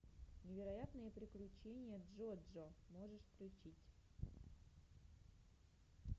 невероятные приключения джо джо можешь включить